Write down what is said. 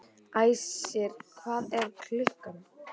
Æsir, hvað er klukkan?